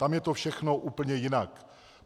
Tam je to všechno úplně jinak.